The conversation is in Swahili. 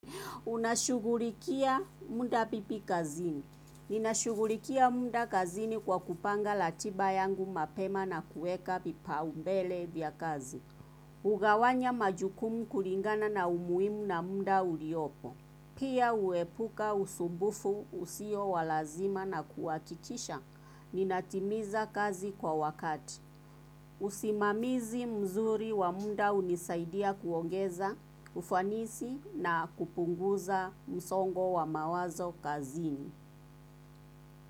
Unashughulikia muda vipi kazini? Ninashughulikia muda kazini kwa kupanga ratiba yangu mapema na kuweka vipaumbele vya kazi. Hugawanya majukumu kulingana na umuhimu na muda uliopo. Pia huepuka usumbufu usio wa lazima na kuhakikisha. Ninatimiza kazi kwa wakati. Usimamizi mzuri wa muda hunisaidia kuongeza, ufanisi na kupunguza msongo wa mawazo kazini.